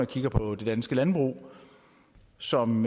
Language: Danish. kigger på det danske landbrug som